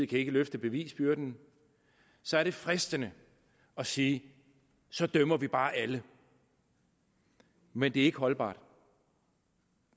kan løfte bevisbyrden så er det fristende at sige så dømmer vi bare alle men det er ikke holdbart